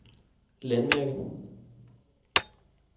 landmærke